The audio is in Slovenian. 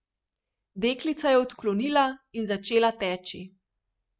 Deklica je odklonila in začela teči.